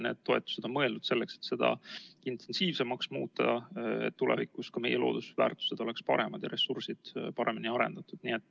Need toetused on mõeldud selleks, et seda tegevust intensiivsemaks muuta ja tulevikus ka meie loodusväärtused oleksid paremad ja ressursid paremini arendatud.